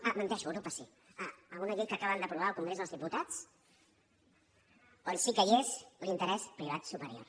ah menteixo a europa sí a una llei que acaben d’aprovar al congrés dels diputats on sí que hi és l’interès privat superior